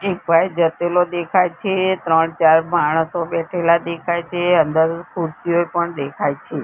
એક ભાઈ જતેલો દેખાય છે ત્રણ ચાર માણસો બેઠેલા દેખાય છે અંદર ખુરશીઓ પણ દેખાય છે.